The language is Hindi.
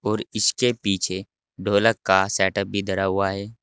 और इसके पीछे ढोलक का सेटअप भी धरा हुआ है।